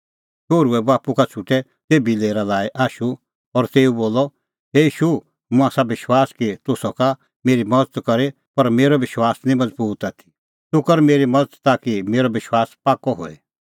शोहरुए बाप्पू का छ़ुटै तेभी लेरा लाई आशू और तेऊ बोलअ हे ईशू मुंह आसा विश्वास कि तूह सका मेरी मज़त करी पर मेरअ विश्वास निं मज़बूत आथी तूह कर मेरी मज़त ताकि मेरअ विश्वास पाक्कअ होए